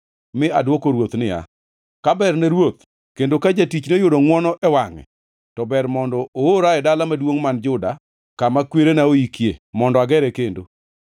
mi adwoko ruoth niya, “Ka berne ruoth kendo ka jatichni oyudo ngʼwono e wangʼe, to ber mondo oora e dala maduongʼ man Juda kama kwerena oikie mondo agere kendo.”